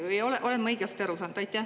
Või olen ma õigesti aru saanud?